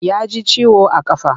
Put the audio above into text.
Ya ji ciwo a ƙafa.